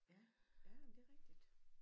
Ja ja men det er rigtigt